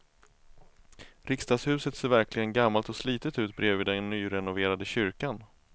Riksdagshuset ser verkligen gammalt och slitet ut bredvid den nyrenoverade kyrkan.